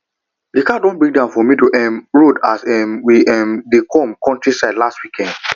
the car break down for middle um road as um we um dey go countryside last weekend